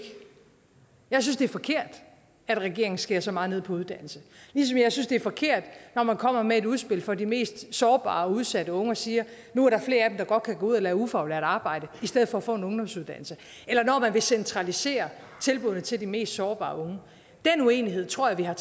jeg synes det er forkert at regeringen skærer så meget ned på uddannelse ligesom jeg synes det er forkert når man kommer med et udspil for de mest sårbare og udsatte unge og siger nu er der flere af dem der godt kan gå ud og lave ufaglært arbejde i stedet for at få en ungdomsuddannelse eller når man vil centralisere tilbuddene til de mest sårbare unge den uenighed tror jeg